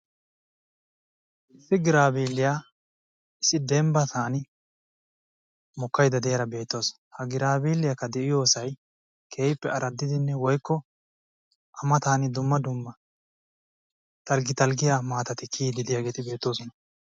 issi giraabeeliya biitan mokaydda deiyaya beettawusu, akka de''iyosay keehippe araddidi qassi dumma dumma dalqqi dalqqiya mitati de'oososna.